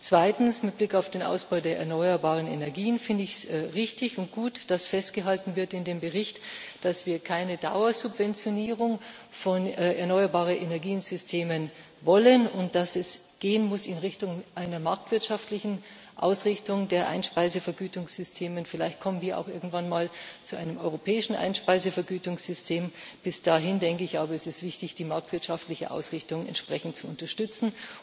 Zweitens Mit Blick auf den Ausbau der erneuerbaren Energien finde ich es richtig und gut, dass in dem Bericht festgehalten wird, dass wir keine Dauersubventionierung von erneuerbaren Energiesystemen wollen und dass es in Richtung einer marktwirtschaftlichen Ausrichtung der Einspeisevergütungssysteme gehen muss. Vielleicht kommen wir auch irgendwann mal zu einem europäischen Einspeisevergütungssystem. Bis dahin ist es aber wichtig, die marktwirtschaftliche Ausrichtung entsprechend zu unterstützen.